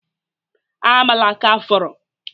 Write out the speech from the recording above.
Amala aka fọrọ?